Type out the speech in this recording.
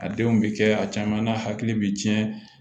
A denw bɛ kɛ a caman n'a hakili bɛ cɛn